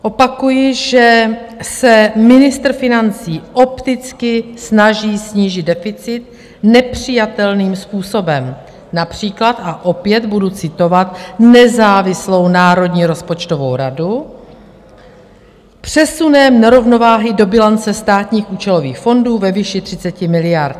Opakuji, že se ministr financí opticky snaží snížit deficit nepřijatelným způsobem, například, a opět budu citovat nezávislou Národní rozpočtovou radu, "přesunem nerovnováhy do bilance státních účelových fondů ve výši 30 miliard".